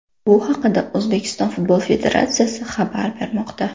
Bu haqda O‘zbekiston Futbol Federatsiyasi xabar bermoqda .